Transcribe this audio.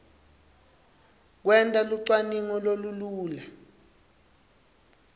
kwenta lucwaningo lolulula